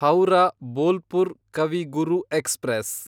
Howrah Bolpur Kavi Guru express